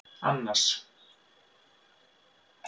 Annas